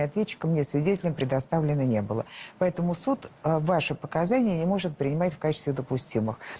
ответчиком мне свидетелем предоставлено не было поэтому суд ваши показания не может принимать в качестве допустимых